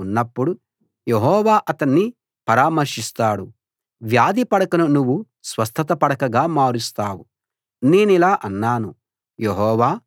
జబ్బు చేసి పడకపై ఉన్నప్పుడు యెహోవా అతణ్ణి పరామర్శిస్తాడు వ్యాధి పడకను నువ్వు స్వస్థత పడకగా మారుస్తావు